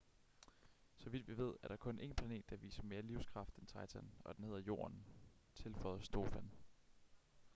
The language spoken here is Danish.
så vidt vi ved er der kun en planet der viser mere livskraft end titan og den hedder jorden tilføjede stofan